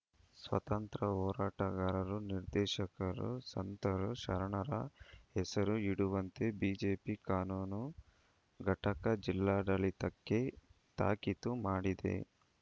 ಸ್ವಾತಂತ್ರ್ಯ ಹೋರಾಟಗಾರರು ದಾರ್ಶನಿಕರು ಸಂತರು ಶರಣರ ಹೆಸರು ಇಡುವಂತೆ ಬಿಜೆಪಿ ಕಾನೂನು ಘಟಕ ಜಿಲ್ಲಾಡಳಿತಕ್ಕೆ ತಾಕೀತು ಮಾಡಿದೆ